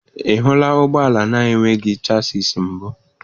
Ị hụla ụgbọ ala na-enweghị chassịs mbụ?